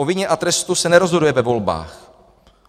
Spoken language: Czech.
O vině a trestu se nerozhoduje ve volbách.